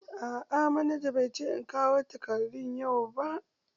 A'a manaja bai ce in kawo takardun yau ba.